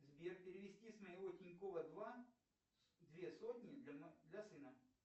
сбер перевести с моего тинькова два две сотни для сына